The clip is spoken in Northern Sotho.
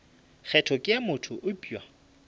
kgetho ke ya motho eupša